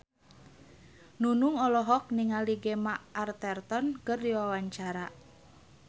Nunung olohok ningali Gemma Arterton keur diwawancara